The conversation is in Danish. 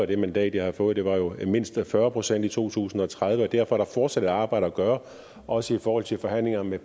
det mandat jeg havde fået var jo mindst fyrre procent i to tusind og tredive derfor er der fortsat et arbejde at gøre også i forhold til forhandlinger med